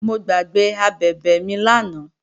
Mo gbàgbé abẹ̀bẹ̀ mi lánàá